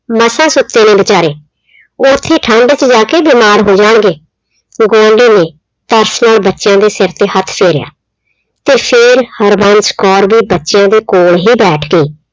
ਮਸਾਂ ਸੁੱਤੇ ਨੇ ਵਿਚਾਰੇ ਉਹ ਉੱਥੇ ਠੰਡ ਚ ਜਾ ਕੇ ਬਿਮਾਰ ਹੋ ਜਾਣਗੇ। ਗੁਆਂਢੀ ਨੇ ਤਰਸ ਨਾਲ ਬੱਚਿਆਂ ਦੇ ਸਿਰ ਤੇ ਹੱਥ ਫੇਰਿਆ ਤੇ ਫਿਰ ਹਰਬੰਸ ਕੌਰ ਦੇ ਬੱਚਿਆਂ ਦੇ ਕੋਲ ਹੀ ਬੈਠ ਕੇ